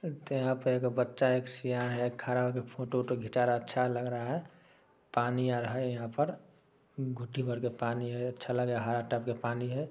तो यहां पे एक बच्चा एक सियान है। खड़ा होकर फोटो - वोटो खीचा रहा है अच्छा लग रहा है। पानी आ रहा है यहां पर घुटी भर के पानी है अच्छा लगे हरा टाइप के पानी है।